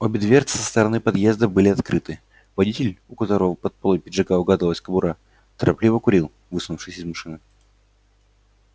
обе дверцы со стороны подъезда были открыты водитель у которого под полой пиджака угадывалась кобура торопливо курил высунувшись из машины